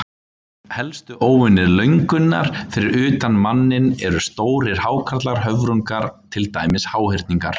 Helstu óvinir löngunnar fyrir utan manninn eru stórir hákarlar, höfrungar, til dæmis háhyrningar.